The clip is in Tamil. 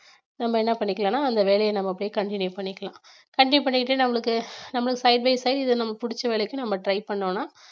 நம்ம என்ன பண்ணிக்கலாம்னா அந்த வேலையை நம்ம அப்படியே continue பண்ணிக்கலாம் continue பண்ணிட்டு நம்மளுக்கு நம்மளுக்கு side by side இது நம்ம பிடிச்ச வேலைக்க நம்ம try பண்ணோம்னா